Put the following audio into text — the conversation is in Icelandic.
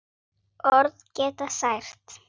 Orð geta sært.